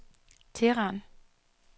Teheran